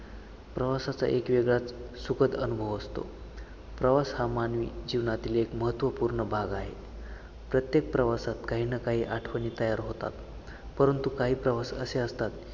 प्रवासाचा एक वेगळा सुखद अनुभव असतो. प्रवास हा मानवी जीवनातील एक महत्वपूर्ण भाग आहे. प्रत्येक प्रवासात काही ना काही आठवणी तयार होतात, परंतु काही प्रवास असे असतात.